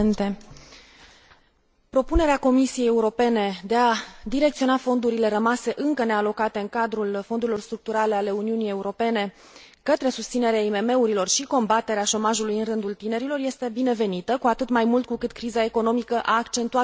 Propunerea Comisiei Europene de a direcționa fondurile rămase încă nealocate în cadrul fondurilor structurale ale Uniunii Europene către susținerea IMM urilor și combaterea șomajului în rândul tinerilor este binevenită, cu atât mai mult cu cât criza economică a accentuat profund aceste probleme.